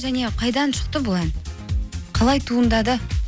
және қайдан шықты бұл ән қалай туындады